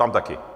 Tam taky.